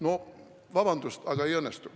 No vabandust, aga ei õnnestu.